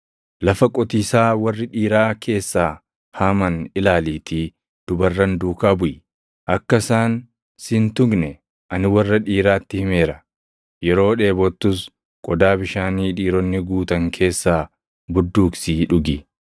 Lafa qotiisaa warri dhiiraa keessaa haaman ilaaliitii dubarran duukaa buʼi. Akka isaan siʼi hin tuqne ani warra dhiiraatti himeera. Yeroo dheebottus qodaa bishaanii dhiironni guutan keessaa budduuqsii dhugi.”